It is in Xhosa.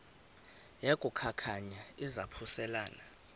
yaku khankanya izaphuselana